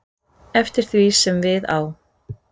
eftir því sem við á.